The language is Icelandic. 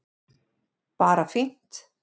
Bara fínt